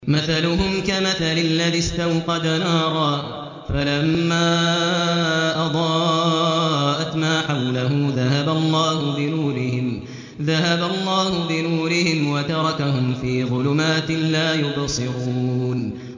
مَثَلُهُمْ كَمَثَلِ الَّذِي اسْتَوْقَدَ نَارًا فَلَمَّا أَضَاءَتْ مَا حَوْلَهُ ذَهَبَ اللَّهُ بِنُورِهِمْ وَتَرَكَهُمْ فِي ظُلُمَاتٍ لَّا يُبْصِرُونَ